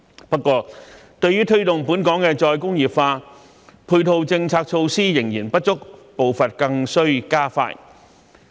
不過，對於推動本港的再工業化，配套政策措施仍然不足，步伐更須加快。